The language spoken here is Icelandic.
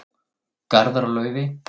Garðar og Laufey.